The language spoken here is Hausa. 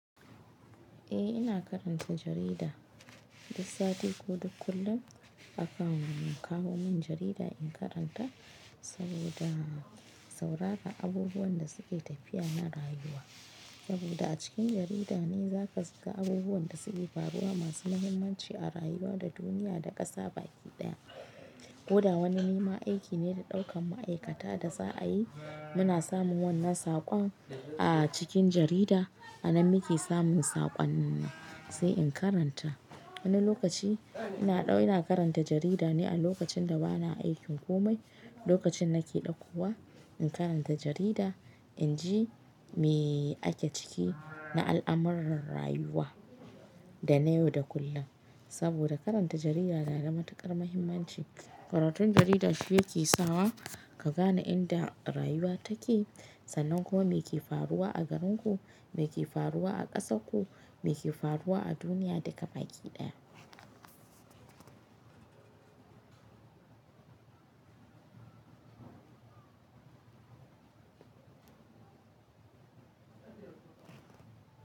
Eh ina karanta jarida, duk sati ko duk kullum akawo mun, kawo min jarida in karanta saboda saurara abubuwan da suke tafiya na rayuwa. Saboda a cikin jarida ne za ka shiga abubuwan da suke faruwa masu muhimmanci a rayuwa da duniya da ƙasa baki ɗaya. Kuda wani nima aiki ne da ɗaukan ma'aikata da za a yi, muna samun wannan saƙon a cikin jarida, a nan muke samun saƙon nan sai in karanta. Wani lokaci ina ɗau-- ina karanta jarida ne a lokacin da bana aikin komai, lokacin nake ɗaukowa in karanta jarida inji me ake ciki na al'amuran rayuwa da na yau da kullum. Saboda karanta jarida na da matuƙar muhimmanci. Karatun jarida shi yake sawa ka gane inda rayuwa take sannan kuma me ke faruwa a garinku, me ke faruwa a ƙasarku, me ke faruwa a duniya duk gabaki ɗaya.